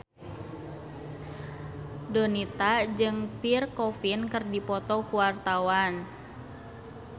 Donita jeung Pierre Coffin keur dipoto ku wartawan